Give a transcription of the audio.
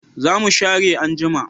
Za mu share anjima